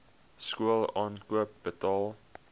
skool aankoop betaal